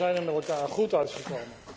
Maar we zijn er met elkaar goed uitgekomen.